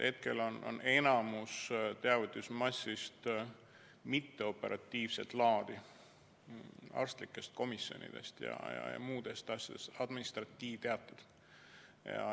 Hetkel on enamus teavitusmassist mitteoperatiivset laadi: arstlikud komisjonid ja muud sellised asjad, administratiivteated.